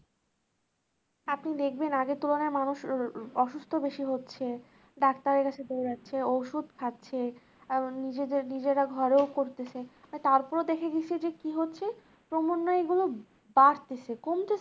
আপনি দেখবে আগের তুলনায় মানুষ অসুস্থ বেশি হচ্ছে ডাক্তারের কাছে চলে যাচ্ছে ওষুধ খাচ্ছে, আরও নিজেদের নিজেরা ঘরেও করতেছে আর তারপরেও দেখে কি থেকে কি হচ্ছে ক্রমান্বয়ে এগুলো বাড়তেছে কমতেছে